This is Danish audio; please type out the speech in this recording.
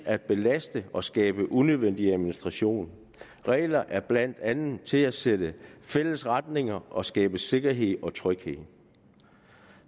at belaste og skabe unødig administration regler er blandt andet til for at sætte fælles retning og skabe sikkerhed og tryghed